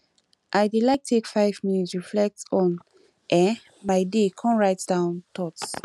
i dey like take five minutes reflect on um my day come write down thoughts